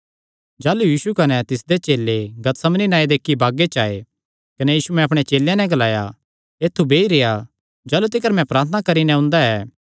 भिरी सैह़ गतसमनी नांऐ दे इक्की बागे च आये कने यीशुयैं अपणे चेलेयां नैं ग्लाया ऐत्थु बेई रेह्आ जाह़लू तिकर मैं प्रार्थना करी नैं ओंदा ऐ